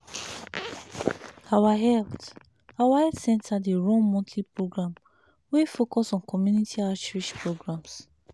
erm na so my uncle take really sick because e no gree hear word from community outreach programs. um